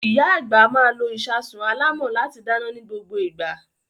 Ìyá àgbà máa lo ìṣasùn alámọ̀ láti dáná ní gbogbo ìgbà.